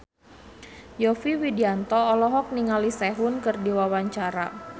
Yovie Widianto olohok ningali Sehun keur diwawancara